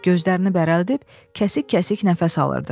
Gözlərini bərəldib kəsik-kəsik nəfəs alırdı.